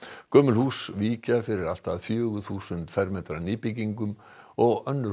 gömul hús víkja fyrir allt að fjögur þúsund fermetra nýbyggingum og önnur